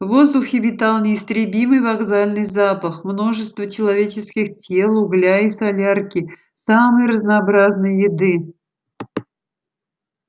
в воздухе витал неистребимый вокзальный запах множества человеческих тел угля и солярки самой разнообразной еды